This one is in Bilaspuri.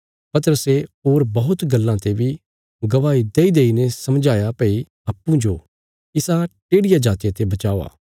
पतरसे होर बौहत गल्लां ते बी गवाही देईदेईने समझाया भई अप्पूँजो इसा टेढिया जातिया ते बचाओ